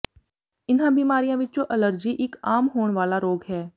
ਇਨ੍ਹਾਂ ਬਿਮਾਰੀਆਂ ਵਿੱਚੋਂ ਅਲਰਜੀ ਇੱਕ ਆਮ ਹੋਣ ਵਾਲਾ ਰੋਗ ਹੈ